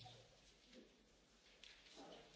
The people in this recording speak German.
Herr Präsident, liebe Kolleginnen und Kollegen!